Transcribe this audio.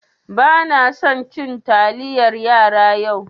Banasan cin taliyar yara yau.